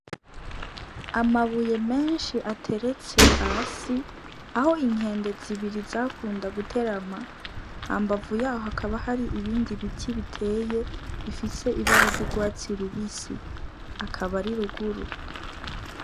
Amabuye menshi ateretse hasi aho inkende zibiri zakunda guterama hambavu yaho hakaba hari ibindi ibiti biteye bifise ibara ry'ugwatsi rubisi akaba ari ruguru.